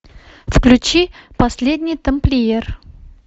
включи последний тамплиер